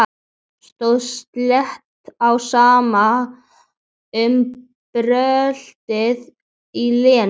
Stóð slétt á sama um bröltið í Lenu.